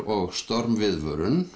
og